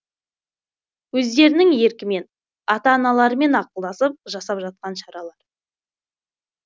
өздерінің еркімен ата аналарымен ақылдасып жасап жатқан шаралары